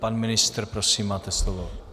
Pan ministr - prosím, máte slovo.